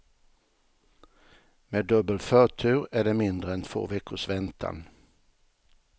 Med dubbel förtur är det mindre än två veckors väntan.